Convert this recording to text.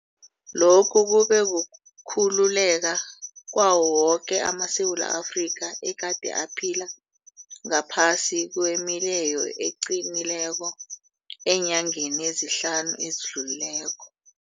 Lokhu kube kukhululeka kwawo woke amaSewula Afrika egade aphila ngaphasi kwemileyo eqinileko eenyangeni ezihlanu ezidlulileko.